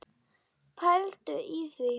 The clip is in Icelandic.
Pældu í því!